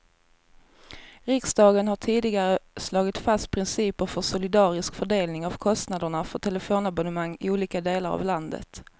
Riksdagen har tidigare slagit fast principer för solidarisk fördelning av kostnaderna för telefonabonnemang i olika delar av landet.